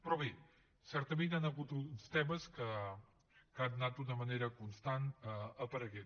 però bé certament hi han hagut uns temes que han anat d’una manera constant apareixent